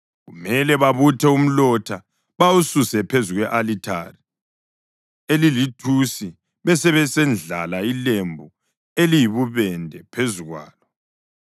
Kumele babuthe umlotha bawususe phezu kwe-alithari elilithusi besebesendlala ilembu eliyibubende phezu kwalo.